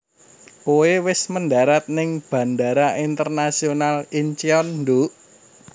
Koe wes mendarat ning Bandara Internasional Incheon nduk